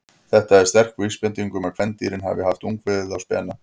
Þetta er sterk vísbending um að kvendýrin hafi haft ungviðið á spena.